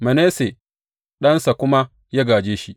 Manasse ɗansa kuma ya gāje shi.